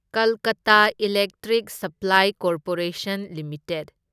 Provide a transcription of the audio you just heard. Kolkata electric supply corporation limited